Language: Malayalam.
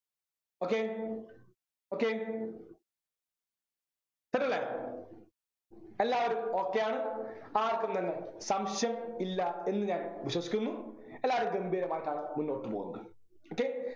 okay okay set ല്ലേ എല്ലാവരും okay യാണ് ആർക്കും തന്നെ സംശയം ഇല്ല എന്ന് ഞാൻ വിശ്വസിക്കുന്നു എല്ലാരും ഗംഭീരമായിട്ടാണ് മുന്നോട്ട് പോകുന്നത് okay